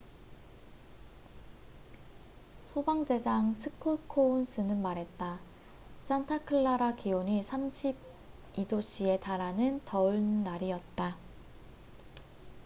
"소방 대장 스콧 코운스는 말했다. "산타클라라 기온이 32℃에 달하는 더운 날이었다.